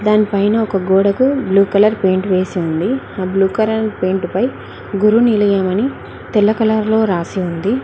దానిపైన ఒక గోడకు బ్లూ కలర్ పెయింట్ వేసింది ఆ బ్లూ కలర్ పెయింట్ పై గురు నీలయమని తెల్ల కలర్ లో రాసి ఉంది.